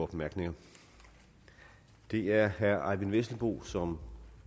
bemærkninger det er herre eyvind vesselbo som